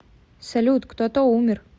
салют кто то умер